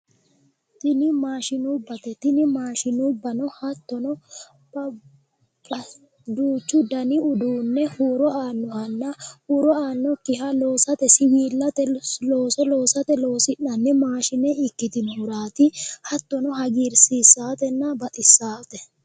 Tini maashinubbate. Tini maashinubbano hattono duuchu dani uduunne huuro aannohanna huuro aannokkiha loosate siwiillate looso loosate loosi'nanni maashine ikkitinohuraati hattono hagiirsiissatenna baxissaate.